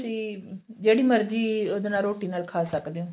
ਤੁਸੀਂ ਜਿਹੜੀ ਮਰਜੀ ਇਹਦੇ ਨਾਲ ਰੋਟੀ ਨਾਲ ਖਾ ਸਕਦੇ ਓ